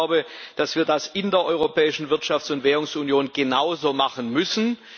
Ich glaube, dass wir das in der Europäischen Wirtschafts und Währungsunion genauso machen müssen.